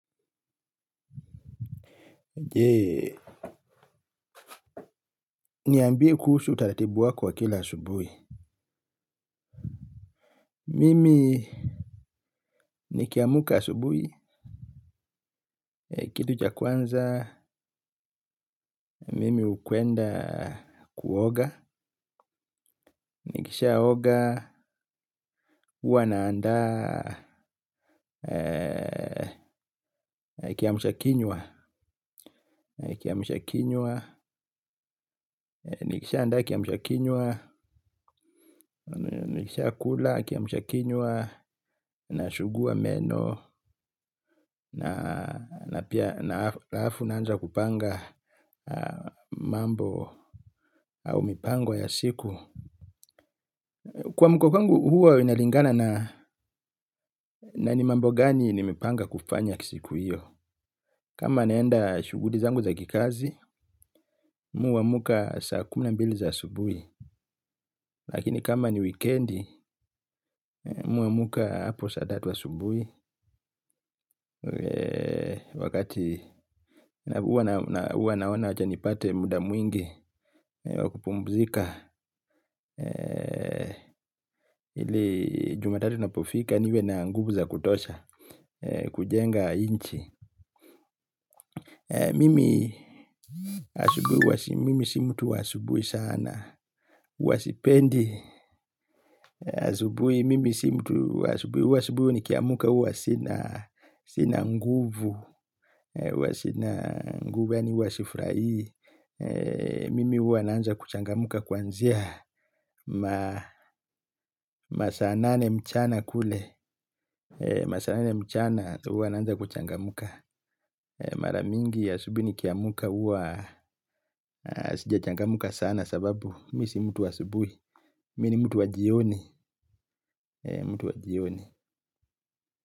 Je, niambie kusuhu utaratibu wako wa kila asubuhi. Mimi nikiamka asubuhi, kitu cha kwanza, mimi hukwenda kuoga, nikishia oga, huwa naanda kiamshakinywa, nikishia andaa kiamshakinywa, nikishia kula kiamshakinywa, nasugua meno, na pia na alafu naanza kupanga mambo au mipango ya siku kuamka kwangu huwa inalingana na ni mambo gani nime panga kufanya kisiku hiyo. Kama naenda shughuli zangu za kikazi mimi huamka saa kumi na mbili za asubuhi. Lakini kama ni wikendi mimi huamka hapo saa tatu asubuhi. Wakati huwa naona wacha nipate muda mwingi wa kupumzika ili jumatatu ina pofika niwe na nguvu za kutosha kujenga nchi mimi asubuhi wasi mimi si mtu wa asubuhi sana huwa sipendi asubuhi mimi si mtu wa asubuhi huwa asubuhi nikiamka huwa sina nguvu huwa sina yani huwa si furahi mimi huwa naanza kuchangamka kuanzia masaa nane mchana kule. Masaa nane mchana tumbo inaanza kuchangamka. Mara mingi asubuhi nikiamka huwa sijachangamka sana sababu mimi si mtu wa asubuhi. Mimi ni mtu wa jioni. Mtu wa jioni.